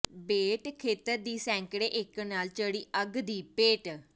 ਬੇਟ ਖੇਤਰ ਦੀ ਸੈਂਕੜੇ ਏਕੜ ਨਾੜ ਚੜ੍ਹੀ ਅੱਗ ਦੀ ਭੇਟ